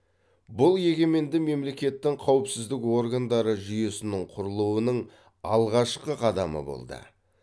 бұл егеменді мемлекеттің қауіпсіздік органдары жүйесінің құрылуының алғашқы қадамы болды